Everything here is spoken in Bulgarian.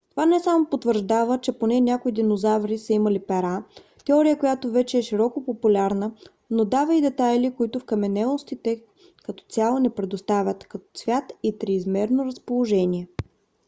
това не само потвърждава че поне някои динозаври са имали пера теория която вече е широко популярна но дава и детайли които вкаменелостите като цяло не предоставят като цвят и триизмерно разположение